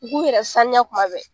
U k'u yɛrɛ saniya kuma bɛɛ